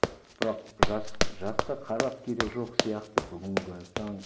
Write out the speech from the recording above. бірақ жасқа қарап керегі жоқ сияқты бүгінгі таң